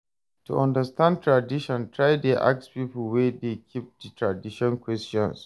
To understand tradition try de ask pipo wey de keep di tradition questions